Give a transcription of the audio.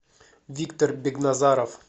виктор бегназаров